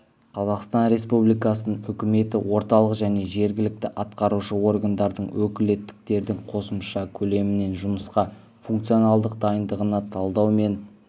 қазақстан республикасының үкіметі орталық және жергілікті атқарушы органдардың өкілеттіктердің қосымша көлемімен жұмысқа функционалдық дайындығына талдау мен